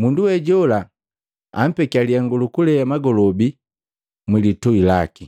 mundu we jola ampekiya lihengu lukulea magolobi mwi litui laki.